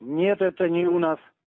нет это не у нас